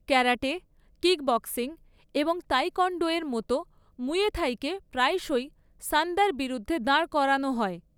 Karate , kickboxing এবং taekwondo এর মতো মুয়াই থাইকে প্রায়শই সান্দার বিরুদ্ধে দাঁড় করানো হয়।